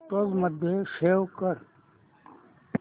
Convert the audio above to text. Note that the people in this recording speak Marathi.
फोटोझ मध्ये सेव्ह कर